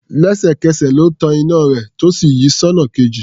Lẹ́sẹ̀kẹsẹ̀ ló tan iná rẹ̀ tó sì yí sọ́nà kejì.